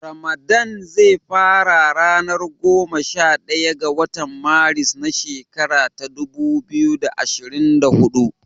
Ramadan ze fara a ranar goma sha daya ga watan Maris na shekara ta dubu biyu da ashirin da huɗu.